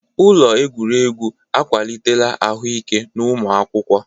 Ụlọ egwuregwu akwalitela ahụike n'ụmụ akwụkwọ.